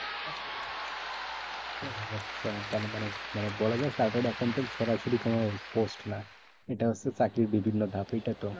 ও আচ্ছা তার মানে, মানে বলা যায় chartered accountant সরাসরি কোনো post না। এটা হচ্ছে চাকরির বিভিন্ন ধাপ, এইটা তো?